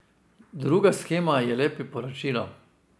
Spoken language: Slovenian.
Druga shema je le priporočilo.